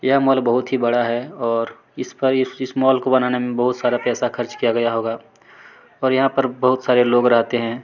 यह मॉल बहुत ही बड़ा है और इसका इस मॉल को बनाने मे बहुत सारा पैसा खर्च किया गया होगा और यहाँ पर बहुत सारे लोग रहते है।